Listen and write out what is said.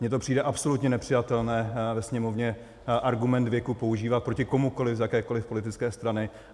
Mně to přijde absolutně nepřijatelné ve Sněmovně argument věku používat proti komukoliv z jakékoliv politické strany.